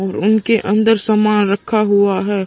और उनके अन्दर सामान रखा हुआ है।